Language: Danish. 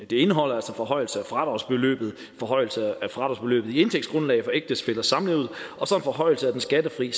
indeholder altså forhøjelse af fradragsbeløbet forhøjelse af fradragsbeløbet i indtægtsgrundlaget for ægtefællers samliv og forhøjelse af den skattefrie